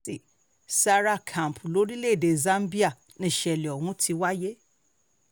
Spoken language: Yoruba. zawa camp lórílẹ̀‐èdè zambia nìṣẹ̀lẹ̀ ọ̀hún ti wáyé